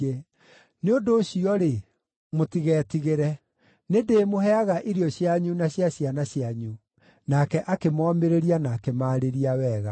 Nĩ ũndũ ũcio-rĩ, mũtigetigĩre. Nĩndĩĩmũheaga irio cianyu na cia ciana cianyu.” Nake akĩmomĩrĩria na akĩmarĩria wega.